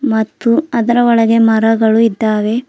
ಮತ್ತು ಅದರ ಒಳಗೆ ಮರಗಳು ಇದ್ದಾವೆ.